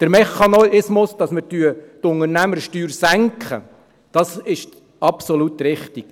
Der Mechanismus, mit dem wir die Unternehmenssteuer senken, ist absolut richtig.